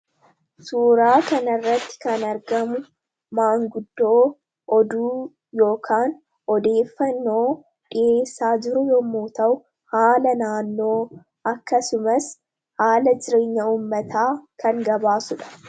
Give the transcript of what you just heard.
Suuraa kan irratti kan argamu, maanguddoo oduu ykn odeeffannoo dhiheessaa jiru yommuu ta'u, haala naannoo, akkasumas haala jireenya ummataa kan gabaasudha.